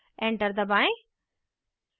enter दबाएँ